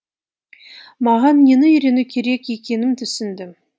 маған нені үйрену керек екенін түсіндім